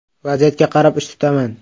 Vaziyatga qarab ish tutaman.